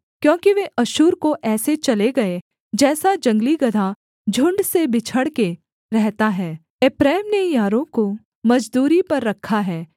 क्योंकि वे अश्शूर को ऐसे चले गए जैसा जंगली गदहा झुण्ड से बिछड़ के रहता है एप्रैम ने यारों को मजदूरी पर रखा है